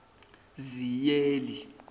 ziyeli